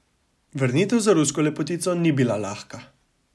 Vrnitev za rusko lepotico ni bila lahka.